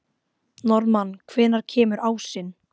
Norðmann, hvenær kemur ásinn?